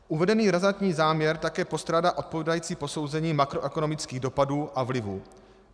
Uvedený razantní záměr také postrádá odpovídající posouzení makroekonomických dopadů a vlivů.